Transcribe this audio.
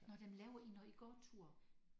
Nåh dem laver I når I går tur?